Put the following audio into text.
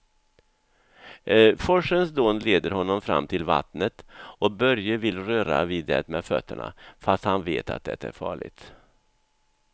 Forsens dån leder honom fram till vattnet och Börje vill röra vid det med fötterna, fast han vet att det är farligt.